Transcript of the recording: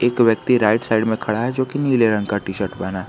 एक व्यक्ति right side में खड़ा है जो की नीले रंग का टी शर्ट पहना--